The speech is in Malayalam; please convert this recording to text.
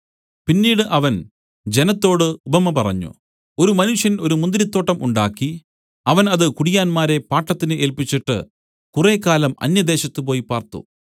പിന്നീട് അവൻ ജനത്തോടു ഉപമ പറഞ്ഞു ഒരു മനുഷ്യൻ ഒരു മുന്തിരിത്തോട്ടം ഉണ്ടാക്കി അവൻ അത് കുടിയാന്മാരെ പാട്ടത്തിന് ഏല്പിച്ചിട്ട് കുറേക്കാലം അന്യദേശത്ത് പോയി പാർത്തു